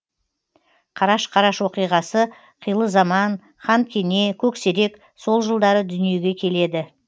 қараш қараш оқиғасы қилы заман хан кене көксерек сол жылдары дүниеге келеді